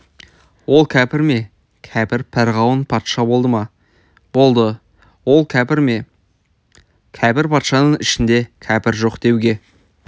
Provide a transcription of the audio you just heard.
ол кәпір ме кәпір перғауын патша болды ма болды ол кәпір ме кәпір патшаның ішінде кәпір жоқ деуге